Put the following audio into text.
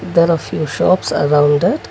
there are few shops around it.